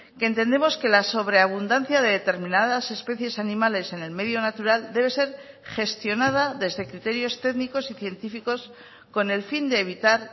que entendemos que la sobreabundancia de determinadas especies animales en el medio natural debe ser gestionada desde criterios técnicos y científicos con el fin de evitar